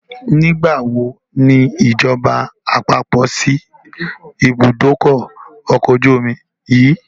Nígbàwo ni ìjọba àpapọ̀ síí ibùdókọ̀ ọkọ̀ ojú omi yìí?